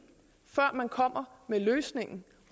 før man kommer med løsningen